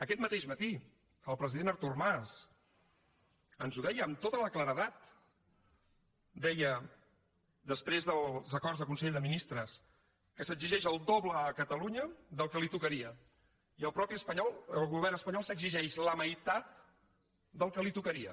aquest mateix matí el president artur mas ens ho deia amb tota la claredat deia després dels acords del consell de ministres que s’exigeix el doble a catalunya del que li tocaria i el mateix espanyol el govern espanyol s’exigeix la meitat del que li tocaria